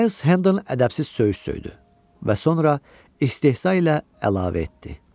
Miles Hendon ədəbsiz söyüş söydü və sonra istehza ilə əlavə etdi.